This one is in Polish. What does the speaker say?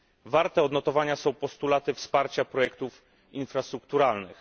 Warte odnotowania są postulaty wsparcia projektów infrastrukturalnych.